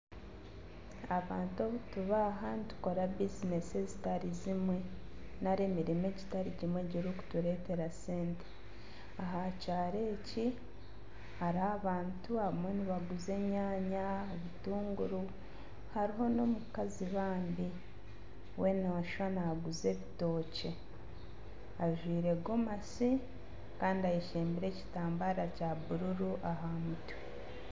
Abantu obutuba aha nitukora bizinesi zitari zimwe nari emirimo etari emwe erikuturetera sente. Aha kyaaro ekyi hariho abantu abamwe nibaguza enyaanya, obutunguru, hariho n'omukazi bambi we noshusha naguza ebitokye. Ajwaire gomosi Kandi ayeshembire ekitambara kya bururu aha mutwe.